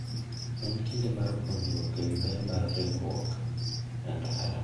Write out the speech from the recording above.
En kinde mar puonjruok e wi ber mar ritruok e ndara.